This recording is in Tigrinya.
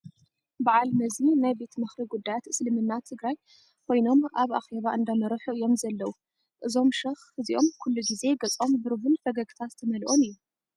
በዓል መዚ ናይ ቤት ምኽሪ ጉዳያት እስልምና ትግራይ ኽይኖም ኣብ ኣኼባ እንዳመርሑ እዮም ዘለዉ ፡ እዞም ሸኽ እዚኦም ኩሉ ግዘ ገፆም ብሩህን ፈገግታ ዝተመልኦን እዩ ።